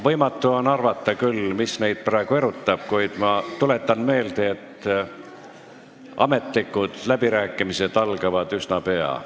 Võimatu on arvata küll, mis neid praegu erutab, kuid ma tuletan meelde, et ametlikud läbirääkimised algavad üsna pea.